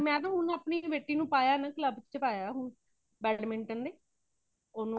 Q ਤਾ ਹੁਣ ਅਪਣੀ ਬੇਟੀ ਨੂੰ ਪਾਯਾ ਹੇ ਨਾ club ਵਿੱਚ ਪਾਯਾ badminton ਦੇ ਓਨੂੰ